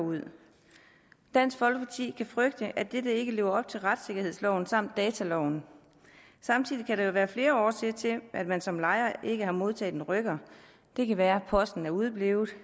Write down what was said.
dansk folkeparti kan frygte at dette ikke lever op til retssikkerhedsloven samt dataloven samtidig kan der jo være flere årsager til at man som lejer ikke har modtaget en rykker det kan være at posten er udeblevet